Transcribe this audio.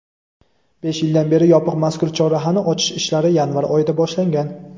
besh yildan beri yopiq mazkur chorrahani ochish ishlari yanvar oyida boshlangan.